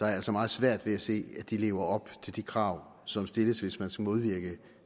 jeg altså meget svært ved at se at de lever op til de krav som stilles hvis man skal modvirke